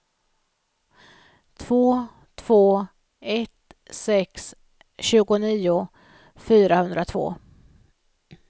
två två ett sex tjugonio fyrahundratvå